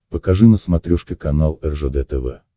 покажи на смотрешке канал ржд тв